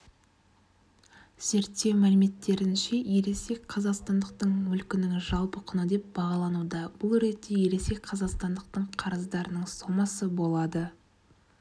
зерттеу мәліметтерінше ересек қазақстандықтың мүлкінің жалпы құны деп бағалануда бұл ретте ересек қазақстандықтың қарыздарының сомасы болады